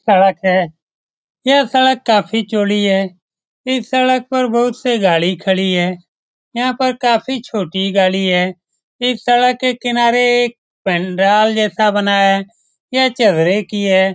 सड़क है। यह सड़क काफी चौड़ी है। इस सड़क पर बहुत से गाड़ी खड़ी है। यहाँ पर काफी छोटी गाड़ी हे। इस सड़क के किनारे एक पंडराल जैसा बना हे। यह चगरे की हे।